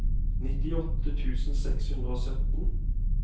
nittiåtte tusen seks hundre og sytten